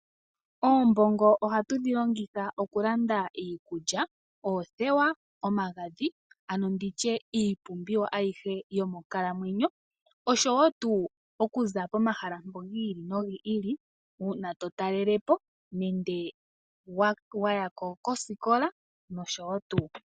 Oombongo ohatu dhi longitha okulanda iikulya, oothewa, omagadhi ano nditye iipumbiwa ayihe yomonkalamwenyo nosho wo tu okuza pomahala gi ili nogi ili una to talelepo nenge wa ya koosikola nosho wo tuu.